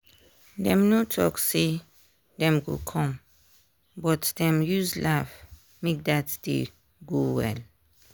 dem no talk say dem go come o but dem use laugh make dat day go well.